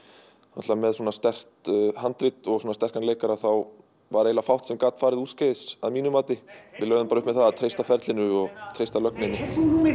náttúrulega með svona sterkt handrit og sterkan leikara þá var eiginlega fátt sem gat farið úrskeiðis að mínu mati lögðum bara upp með það að treysta ferlinu og treysta lögninni